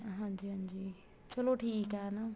ਹਾਂਜੀ ਹਾਂਜੀ ਚਲੋ ਠੀਕ ਏ ਹਨਾ